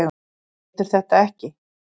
Getur þetta ekki.